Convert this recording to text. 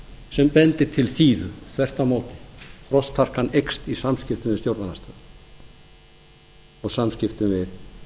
sem bendir til þíðu þvert á móti frostharkan eykst í samskiptum við stjórnarandstöðuna og samskiptum við